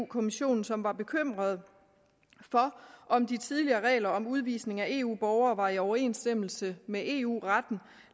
kommissionen som var bekymret for om de tidligere regler om udvisning af eu borgere var i overensstemmelse med eu retten